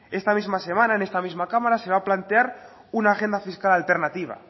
esta misma semana en esta misma cámara se va a plantear una agenda fiscal alternativa